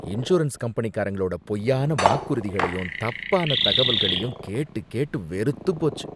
Insurance கம்பெனிங்களோட பொய்யான வாக்குறுதிகளையும் தப்பான தகவல்களையும் கேட்டு கேட்டு வெறுத்துப் போச்சு.